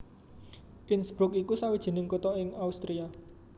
Innsbruck iku sawijining kutha ing Austria